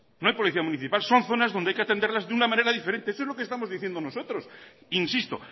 no hay policía municipal son zonas donde hay que atenderlas de una manera diferente eso es lo que estamos diciendo nosotros insisto